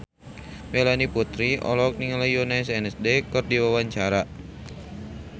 Melanie Putri olohok ningali Yoona SNSD keur diwawancara